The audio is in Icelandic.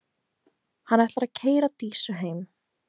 Hann ætlar að keyra Dísu heim.